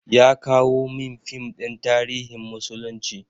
Ya kawo min fim ɗin tarihin musulunci.